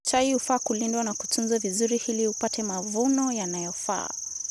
Chai hufaa kulindwa na kutunzwa vizuri hili upate mavuno yanayofaa